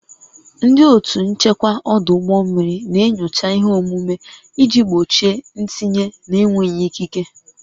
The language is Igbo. Ndị otu nchekwa ọdụ ụgbọ mmiri na-enyocha ihe omume iji gbochie ntinye na-enweghị ikike